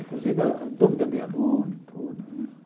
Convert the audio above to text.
Inclusive a a dúvida de aluno e tudo, né?